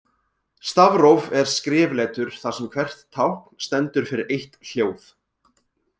Stafróf er skrifletur þar sem hvert tákn stendur fyrir eitt hljóð.